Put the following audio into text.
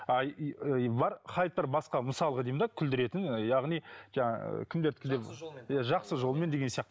а бар хайптар басқа мысалға деймін де күлдіретін яғни жаңа кімдердікіндей жақсы жолмен деген сияқты